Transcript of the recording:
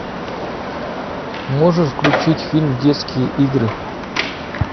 можешь включить фильм детские игры